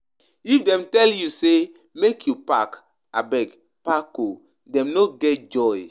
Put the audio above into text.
If dem tell you sey make you park, abeg park o dem no get joy.